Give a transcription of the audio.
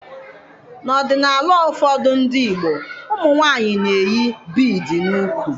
N'ọdịnala ụfọdụ ndị Igbo, ụmụnwaanyị na-eyi bịịdii n'úkwù.